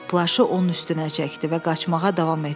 Plaşı onun üstünə çəkdi və qaçmağa davam etdi.